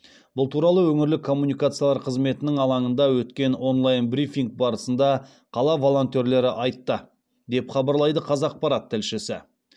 бұл туралы өңірлік коммуникациялар қызметінің алаңында өткен онлайн брифинг барысында қала волонтерлері айтты деп хабарлайды қазақпарат тілшісі